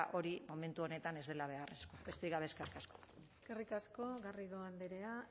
hori momentu honetan ez dela beharrezkoa besterik gabe eskerrik asko eskerrik asko garrido andrea